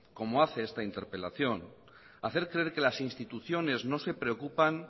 como hace esta interpelación hacer creer que las instituciones no se preocupan